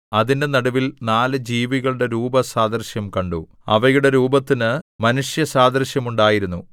അതിന്റെ നടുവിൽ നാല് ജീവികളുടെ രൂപസാദൃശ്യം കണ്ടു അവയുടെ രൂപത്തിന് മനുഷ്യസാദൃശ്യം ഉണ്ടായിരുന്നു